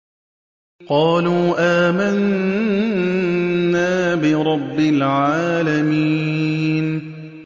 قَالُوا آمَنَّا بِرَبِّ الْعَالَمِينَ